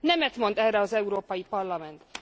Nemet mond erre az Európai Parlament.